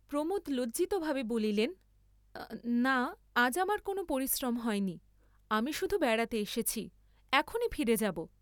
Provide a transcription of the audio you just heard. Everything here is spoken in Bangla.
প্রমোদ লজ্জিতভাবে বলিলেন না আজ আমার কোন পরিশ্রম হয়নি আমি শুধু বেড়াতে এসেছি, এখনি ফিরে যাব।